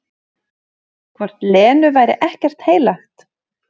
Hvort Lenu væri ekkert heilagt?